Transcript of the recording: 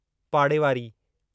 पाड़ेवारी